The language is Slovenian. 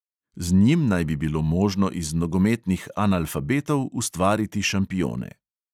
Z njim naj bi bilo možno iz nogometnih analfabetov ustvariti šampione.